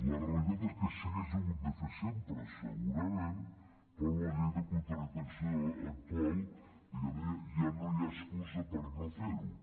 la realitat és que s’hagués hagut de fer sempre segurament i per una llei de contractació actual diguem ne ja no hi ha excusa per no fer ho